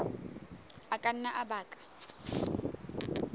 a ka nna a baka